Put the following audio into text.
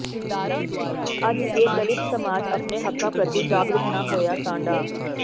ਅੱਜ ਜੇ ਦਲਿਤ ਸਮਾਜ ਆਪਣੇ ਹੱਕਾਂ ਪ੍ਰਤੀ ਜਾਗਰੂਕ ਨਾ ਹੋਇਆ ਤਾਂ ਡਾ